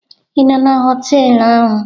Ị nọ na họtelụ ahụ?